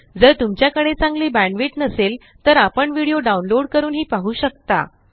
जर तुमच्याकडे चांगली बॅण्डविड्थ नसेल तर व्हिडीओ डाउनलोड करूनही पाहू शकता